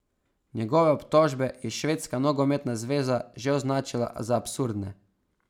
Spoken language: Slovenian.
Njegove obtožbe je švedska nogometna zveza že označila za absurdne.